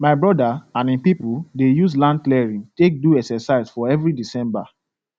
my brother and him people dey use land clearing take do exercise for every december